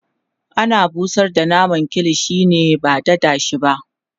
ana busar da naman kilishi ne ba dada shi ba